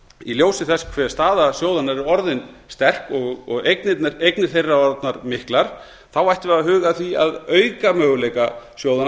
í ljósi þess hve staða sjóðanna er orðin sterk og eignir þeirra orðnar miklar ættum við að huga að því að auka möguleika sjóðanna